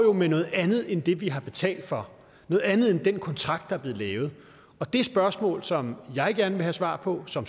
jo med noget andet end det vi har betalt for noget andet end i den kontrakt der er blevet lavet det spørgsmål som jeg gerne vil have svar på som